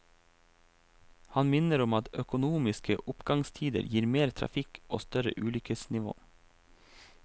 Han minner om at økonomiske oppgangstider gir mer trafikk og større ulykkesnivå.